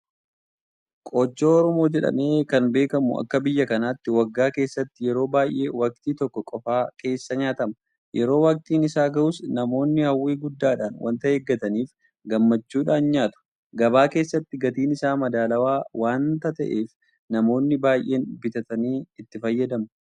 Qochoo Oromoo jedhamee kan beekamu akka biyya kanaatti waggaa keessatti yeroo baay'ee waktii tokko qofa keessa nyaatama. Yeroo waktiin isaa gahus namoonni hawwii guddaadhaan waanta eeggataniif gammachuudhaan nyaatu. Gabaa keessattis gatiin isaa madaalawaa waanta ta'eef namoonni baay'een bitatanii itti fayyadamu.